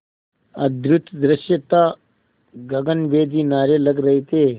अद्भुत दृश्य था गगनभेदी नारे लग रहे थे